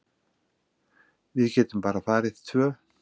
Við getum bara farið tvö.